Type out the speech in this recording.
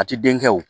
A ti den kɛ wo